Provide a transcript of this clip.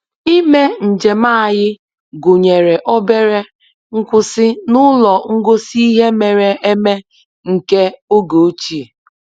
Ime njem anyị gụnyere obere nkwụsị n'ụlọ ngosi ihe mere eme nke oge ochie